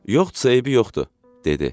Yoxdursa, eybi yoxdur, dedi.